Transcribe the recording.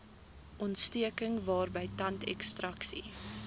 ontsteking waarby tandekstraksie